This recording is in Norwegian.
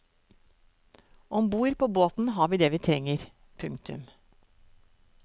Om bord på båten har vi det vi trenger. punktum